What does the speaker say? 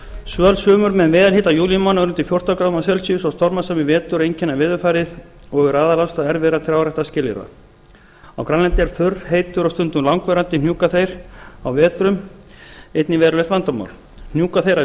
svöl sumur með meðalhita júlímánaðar undir fjórtán gráður og stormasamir vetur einkenna veðurfarið og eru aðalástæður erfiðra trjáræktarskilyrða á grænlandi er þurr heitur og stundum langvarandi hnjúkaþeyr á vetrum einnig verulegt vandamál hnjúkaþeyr að